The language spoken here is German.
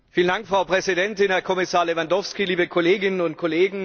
Frau Präsidentin, Herr Kommissar Lewandowski, liebe Kolleginnen und Kollegen!